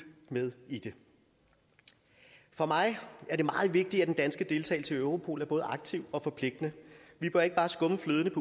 med i det for mig er det meget vigtigt at den danske deltagelse i europol er både aktiv og forpligtende vi bør ikke bare skumme fløden